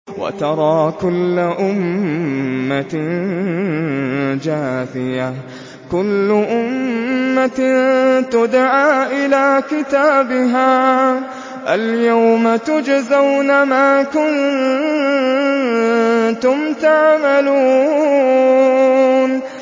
وَتَرَىٰ كُلَّ أُمَّةٍ جَاثِيَةً ۚ كُلُّ أُمَّةٍ تُدْعَىٰ إِلَىٰ كِتَابِهَا الْيَوْمَ تُجْزَوْنَ مَا كُنتُمْ تَعْمَلُونَ